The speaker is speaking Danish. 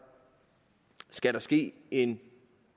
skal desuden ske en